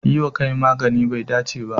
Yi wa kai maganin bai dace ba.